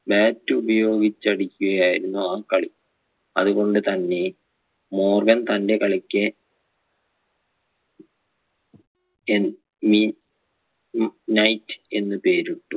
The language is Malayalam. bat ഉപയോഗിച്ചടിക്കുകയായിരുന്നു ആ കളി അതുകൊണ്ട് തന്നെ മോർഗൻ തൻ്റെ കളിക്ക് NE ഉം night എന്ന് പേരിട്ടു